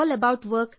ಧನ್ಯವಾದಗಳು